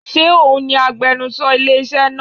Ṣé òun agbenusọ ilé iṣẹ́ náà?